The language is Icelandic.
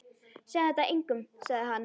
Segðu þetta engum sagði hann.